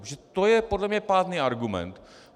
Protože to je podle mě pádný argument.